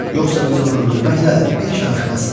Yoxsa biz onu öldürməklə bir kar aşmaz.